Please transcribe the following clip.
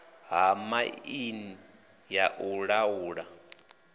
ha mai ya u laula